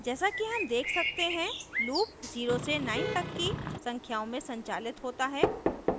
जैसा कि हम देख सकते हैं loop 0 से 9 तक की संख्याओं में संचालित होता है